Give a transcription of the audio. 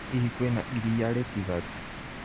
Hihi kwĩna iria rĩtigaru